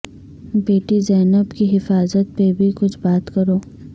بیٹی زینب کی حفاظت پہ بھی کچھ بات کرو